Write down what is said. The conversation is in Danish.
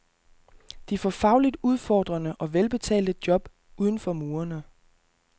De får fagligt udfordrende og velbetalte job uden for murene.